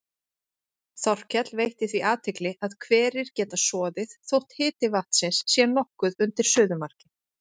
Þorkell veitti því athygli að hverir geta soðið þótt hiti vatnsins sé nokkuð undir suðumarki.